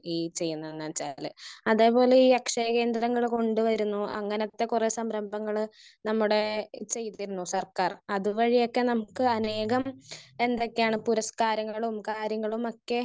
Speaker 1 ഈ ചെയ്യുന്നതെന്ന് വെച്ചാല്. അതെ പോലെ ഈ അക്ഷയ കേന്ദ്രങ്ങള് കൊണ്ട് വരുന്നു. അങ്ങനത്തെ കുറെ സംരബങ്ങള് നമ്മുടെ ഈസിയാക്കി തരുന്നു സർക്കാർ. അതുവഴിയൊക്കെ നമുക്ക് അനേകം എന്തൊക്കെയാണ് പുരസ്‌കാരങ്ങളും കാര്യങ്ങളുമൊക്കെ